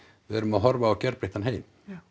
við erum að horfa á gjörbreyttan heim